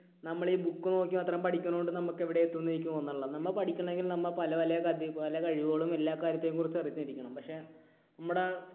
നമ്മൾ ഈ book നോക്കി മാത്രം പഠിക്കുന്ന കൊണ്ട് നമുക്ക് എവിടെയും എത്തും എന്ന് എനിക്ക് തോന്നുന്നില്ല. നമ്മൾ പഠിക്കണമെങ്കിൽ നമ്മൾ പലപല, പല കഴിവുകളും എല്ലാ കാര്യത്തെയും കുറിച്ച് അറിഞ്ഞിരിക്കണം. പക്ഷേ നമ്മുടെ